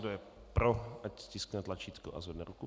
Kdo je pro, ať stiskne tlačítko a zvedne ruku.